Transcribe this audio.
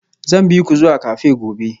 Zan bi ku zuwa cafe gobe